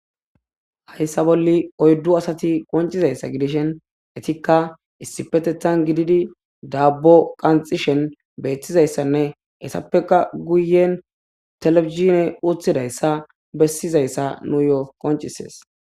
Haysa bolli oydu asati qoncidaysa gidishin etika issipetethan gididi dabo qanxishe betizaysanne ettapeka guyen telebizhiney uttidaysa besizaysa nuyo qoncisses.